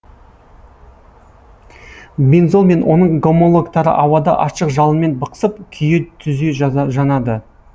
бензол мен оның гомологтары ауада ашық жалынмен бықсып күйе түзе жанады